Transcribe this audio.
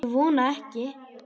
Ég vona ekki